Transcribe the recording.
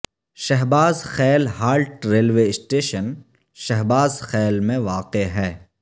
Shahbaz Khel halt railway station Shahbaz Khel میں واقع ہے